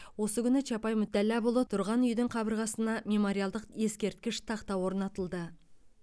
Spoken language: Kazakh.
осы күні чапай мүтәлләпұлы тұрған үйдің қабырғасына мемориалдық ескерткіш тақта орнатылды